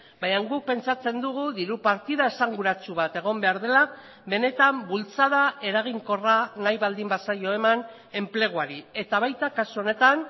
baina guk pentsatzen dugu diru partida esanguratsu bat egon behar dela benetan bultzada eraginkorra nahi baldin bazaio eman enpleguari eta baita kasu honetan